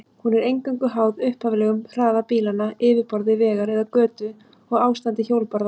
Hún er eingöngu háð upphaflegum hraða bílanna, yfirborði vegar eða götu og ástandi hjólbarða.